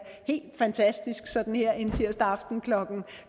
helt fantastisk sådan her en tirsdag aften klokken